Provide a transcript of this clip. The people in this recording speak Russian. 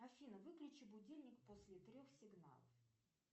афина выключи будильник после трех сигналов